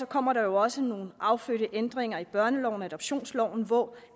kommer der også nogle affødte ændringer i børneloven og adoptionsloven hvor